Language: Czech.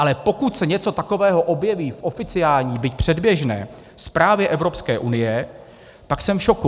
Ale pokud se něco takového objeví v oficiální, byť předběžné zprávě Evropské unie, tak jsem v šoku.